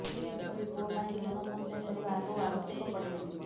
ସେପରି ପୁଅ ପାଇଁ ଧନ ସଞ୍ଚୟ କରିବା ଆଦୌ ଆବଶ୍ୟକ ପଡ଼େ ନାହିଁ